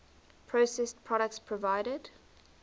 processed products provided